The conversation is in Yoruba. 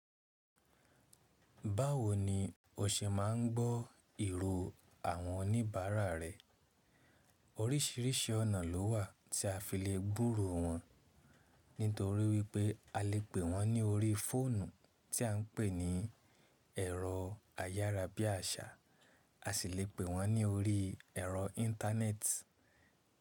Báwo ni o ṣe máa ń gbọ́ ìró àwọn oníbàárà rẹ? Orísìírísìí ọ̀nà lówà tí a fi lè gbúro wọn, nítorí wípé a lè pè wọ́n ní orí fóònù tí à ń pè ní ẹ̀rọ ayárabíàṣá, a sì lè pè wọ́n ní orí ẹ̀rọ íńtánẹ́ẹ̀tì.